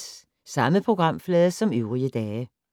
Samme programflade som øvrige dage